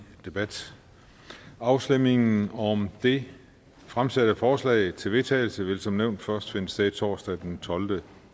debat afstemningen om det fremsatte forslag til vedtagelse vil som nævnt først finde sted torsdag den tolvte